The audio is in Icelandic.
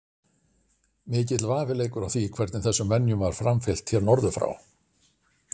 mikill vafi leikur á því hvernig þessum venjum var framfylgt hér norður frá